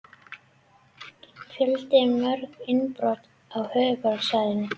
Fjölmörg innbrot á höfuðborgarsvæðinu